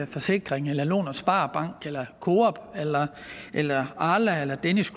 forsikring lån spar bank coop arla eller danish